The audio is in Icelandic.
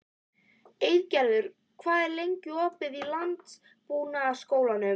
Eygerður, hvað er lengi opið í Landbúnaðarháskólanum?